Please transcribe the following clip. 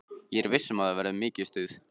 Ég er viss um að það verður mikið stuð.